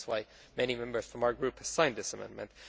That is why many Members from our group signed this amendment.